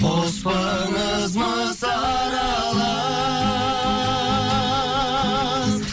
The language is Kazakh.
қоспаңыз мыс аралас